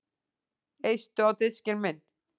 Eistu á diskinn minn